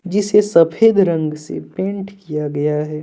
जिसे सफेद रंग से पेंट किया गया है।